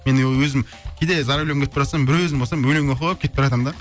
мен өзім кейде за рулем кетіп бара жатсам бір өзім болсам өлең оқып кетіп бара жатамын да